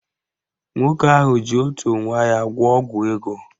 Nwoke ahụ ji otu nwa ya gwọọ ọgwụ ego